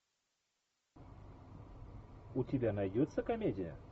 у тебя найдется комедия